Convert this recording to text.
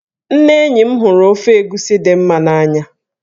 Ndị enyi m hụrụ ofe egusi di m n'anya.